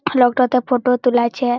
লোক টা তে ফটো তুলাছে।